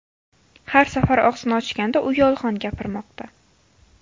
Har safar og‘zini ochganda, u yolg‘on gapirmoqda.